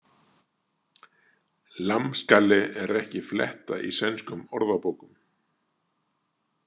Lammskalle er ekki fletta í sænskum orðabókum.